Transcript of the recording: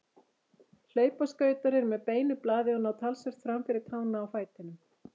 Hlaupaskautar eru með beinu blaði og ná talsvert fram fyrir tána á fætinum.